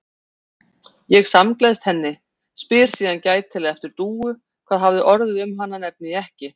Ég samgleðst henni, spyr síðan gætilega eftir Dúu, hvað hafi orðið um hana, nefni ekki